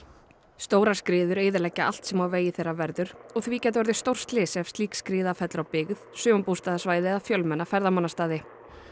stórar skriður eyðileggja allt sem á vegi þeirra verður og því gæti orðið stórslys ef slík skriða fellur á byggð eða fjölmenna ferðamannastaði